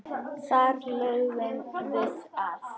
Þar lögðum við að.